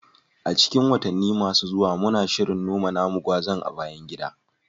A cikin watanni masu zuwa, muna shirin noma namu gwazan a bayan gida